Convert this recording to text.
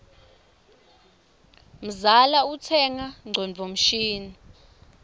mzala utsenga ngcondvo mshini